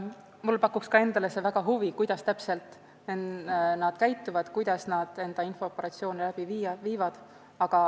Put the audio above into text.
Mulle pakub ka endale suurt huvi, kuidas täpselt nad käituvad, kuidas nad oma infooperatsioone läbi viivad.